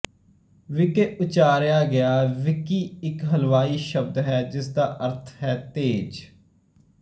wiki ਉਚਾਰਿਆ ਗਿਆ wiki ਇੱਕ ਹਵਾਈ ਸ਼ਬਦ ਹੈ ਜਿਸ ਦਾ ਅਰਥ ਹੈ ਤੇਜ਼